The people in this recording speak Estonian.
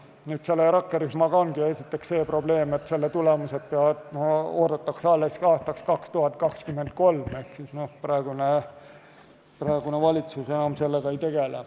Selle rakkerühmaga on esiteks see probleem, et selle tulemusi oodatakse alles aastaks 2023 ehk praegune valitsus enam sellega ei tegele.